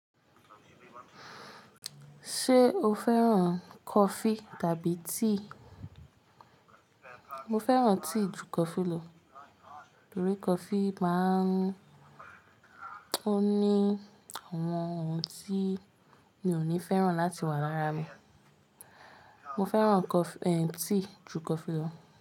Ṣé o fẹ́ràn coffee tàbí tea? Mo fẹ́ràn tea ju coffee lo, torí coffee máa ń ó ní àwọn ohun tí mi ò ní fẹ́ràn láti wà lára mi. Mo fẹ́ràn cof-- tea ju coffee lo.